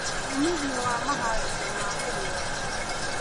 ũmithio wa maharĩria ma mũgũnda